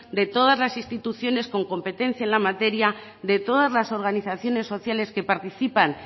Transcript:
de todas las instituciones con competencia en la materia de todas las organizaciones sociales que participan